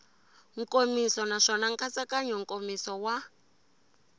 nkomiso naswona nkatsakanyo nkomiso wa